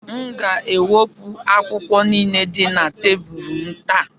M ga-ewepụ akwụkwọ niile dị na tebụl m taa.